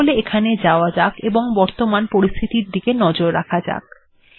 তাহলে এখানে যাওয়া যাক এবং বর্তমান পরিস্থতির দিকে নজর রাখা যাক